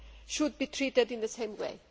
should be treated in the same way.